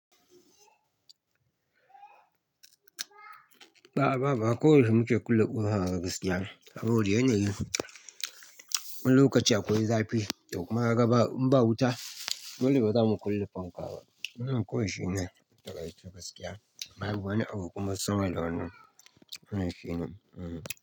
Ba a, ba a, ba a. Ko yaushe muke kulle ƙofa daga gaskiya. Saboda yana yi wani lokaci akwai zafi, ya kuma raba in ba wuta, dole bazamu kulle fanka ba. Nan koyaushe ne daga gaskiya. Babu, wani abu kuma sama da wannan. An yi shi ne? Mm.